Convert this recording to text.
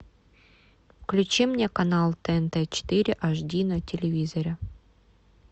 включи мне канал тнт четыре аш ди на телевизоре